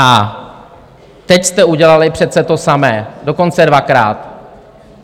A teď jste udělali přece to samé, dokonce dvakrát.